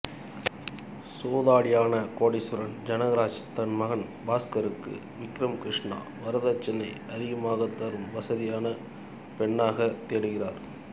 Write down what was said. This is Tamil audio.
சூதாடியான கோடீஸ்வரன் ஜனகராஜ் தன் மகன் பாஸ்கருக்கு விக்ரம் கிருஷ்ணா வரதட்சணை அதிகமாகத் தரும் வசதியான பெண்ணாகத் தேடுகிறார்